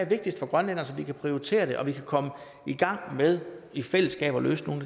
vigtigst for grønlænderne så vi kan prioritere det og så vi kan komme i gang med i fællesskab at løse nogle